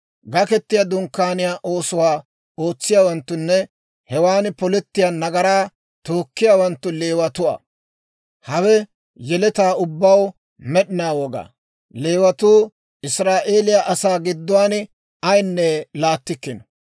Gaketiyaa Dunkkaaniyaa oosuwaa ootsiyaawanttunne hewan polettiyaa nagaraa tookkiyaawanttu Leewatuwaa. Hawe yeletaa ubbaw med'inaa wogaa. Leewatuu Israa'eeliyaa asaa gidduwaan ayinne laattikkino.